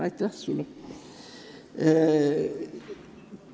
Aitäh sulle!